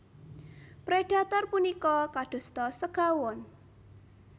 Predhator punika kadosta segawon